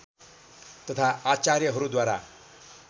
तथा आचार्यहरूद्वारा